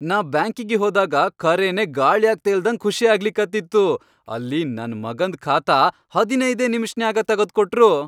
ನಾ ಬ್ಯಾಂಕಿಗಿ ಹೋದಾಗ ಖರೇನೆ ಗಾಳ್ಯಾಗ್ ತೇಲ್ದಂಗ್ ಖುಷಿ ಆಗ್ಲಕತ್ತಿತ್ತು, ಅಲ್ಲಿ ನನ್ ಮಗಂದ್ ಖಾತಾ ಹದನೈದೇ ನಿಮಿಷ್ನ್ಯಾಗ ತಗದ್ಕೊಟ್ರು.